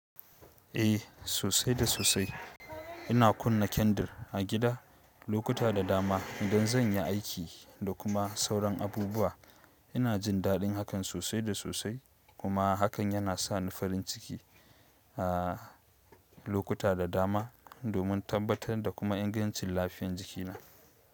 Eh sosai da sosai. Ina kunna kyandir a gida lokuta da dama, idan zan yi aiki, da kuma sauran abubuwa. Ina jin daɗin hakan sosai da sosai, kuma hakan yana sa ni farin ciki a lokuta da dama, domin tabbatar da kuma ingancin lafiyar jikina.